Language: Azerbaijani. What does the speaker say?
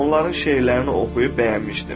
Onların şeirlərini oxuyub bəyənmişdim.